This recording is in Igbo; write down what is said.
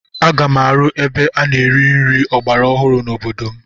Aga m arụ ebe a na-ere nri ọgbara ọhụrụ n'obodo m.